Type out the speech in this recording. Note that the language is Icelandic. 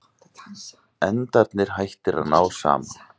Endarnir hættir að ná saman.